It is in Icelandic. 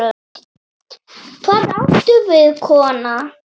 Hvað áttu við, kona?